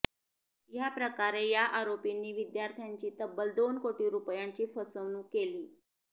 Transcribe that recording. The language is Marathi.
याप्रकारे या आरोपींनी विद्यार्थ्यांची तब्बल दोन कोटी रुपयांची फसवणूक केली